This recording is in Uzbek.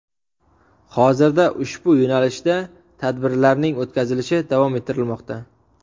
Hozirda ushbu yo‘nalishda tadbirlarning o‘tkazilishi davom ettirilmoqda.